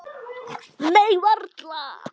Nei, varla.